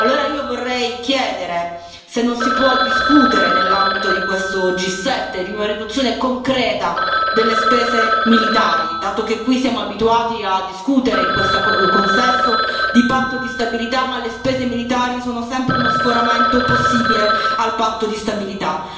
Allora io vorrei chiedere se non si può discutere, nell'ambito di questo G7, di una riduzione concreta delle spese militari, dato che qui siamo abituati a discutere, in questo consesso, di patto di stabilità, ma le spese militari sono sempre uno sforamento possibile al patto di stabilità.